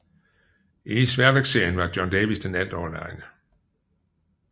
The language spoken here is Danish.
I sværvægtsserien var John Davis den altoverlegne